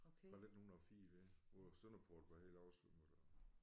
Fra 1904 af hvor Sønderport var helt oversvømmet